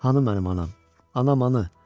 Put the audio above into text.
Anam, mənim anam, anam anı.